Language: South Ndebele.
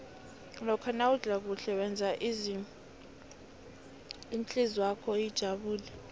lokha nawudla kuhle wenza ihlizwakho ijabule